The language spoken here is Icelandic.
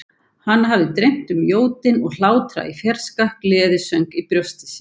Hana hafði dreymt um jódyn og hlátra í fjarska, gleðisöng í brjósti sér.